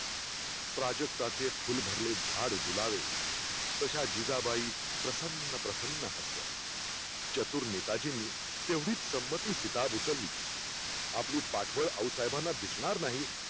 प्राजक्ताचे फुलभरले झाड डुलावे, तश्या जिजाबाई प्रसन्न प्रसन्न हसल्या चतुर नेताजींनी तेवढीच संमती सीताब उचलली. आपली पाढवळ आऊसाहेबाना दिसणार नाही